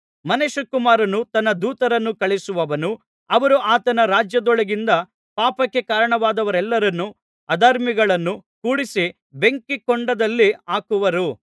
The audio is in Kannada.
ಮನುಷ್ಯಕುಮಾರನು ತನ್ನ ದೂತರನ್ನು ಕಳುಹಿಸುವನು ಅವರು ಆತನ ರಾಜ್ಯದೊಳಗಿಂದ ಪಾಪಕ್ಕೆ ಕಾರಣವಾದವರೆಲ್ಲರನ್ನೂ ಅಧರ್ಮಿಗಳನ್ನೂ ಕೂಡಿಸಿ ಬೆಂಕಿ ಕೊಂಡದಲ್ಲಿ ಹಾಕುವರು